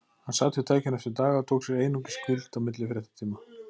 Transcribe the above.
Hann sat við tækið næstu daga og tók sér einungis hvíld á milli fréttatíma.